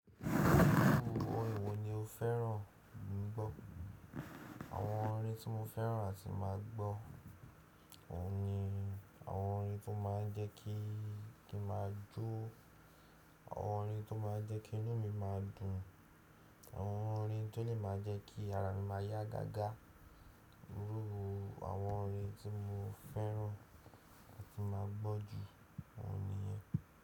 Íru orin wọ ni o fẹ́ràn gbọ́? Àwọn orin tí mo fẹ́ràn àti máa gbọ́ oun ni àwọn orin tó máa ń jẹ́ kí i kí ma jó, àwọn orin tó máa ń jẹ́ kí inú mi máa dùn, àwọn orin tó dè máa jẹ́ kí ara mi máa yá gágá. Íru àwọn orin tí mo fẹ́ràn àti máa gbọ́ jù òun niyẹn.